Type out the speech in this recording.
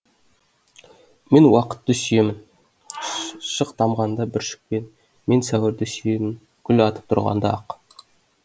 мен уақытты сүйемін шық тамғанда бүршіктен мен сәуірді сүйемін ол гүл атып тұрғанда ақ